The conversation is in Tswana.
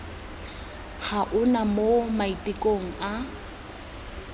ga ona mo maitekong a